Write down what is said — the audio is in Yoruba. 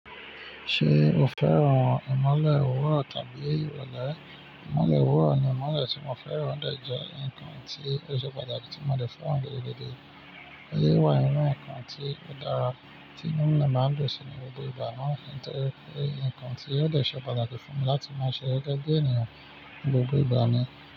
Ṣé o fẹ́ran ìmọ̀le wọ̀ tàbí ìrọ̀lẹ́? Ìmọ̀le wọ̀ ni ìmọ̀le tí mo fẹ́ran dáńjọ́ ńkan tí ó ṣe pàtàkì tí mo le fọ̀ wọ̀n gẹ́gẹ́ gẹ́gẹ́. Ó yẹ wá yàn ńkan tí ó dára tí inú ilé máa ń dùn sí ní gbogbo ìgbà máa ń ṣe ńtẹ́lẹ̀ kí ńkan tí a ó ṣe pàtàkì fún mi láti máa ṣe é dá gé ènìyàn ní gbogbo ìgbà ni.